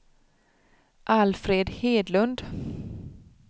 Alfred Hedlund